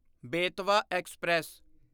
Betwa express